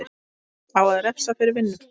Á að refsa fyrir vinnu?